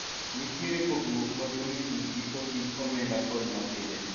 nitie pogruok maduong' e kind giko hik omenda kod ma pile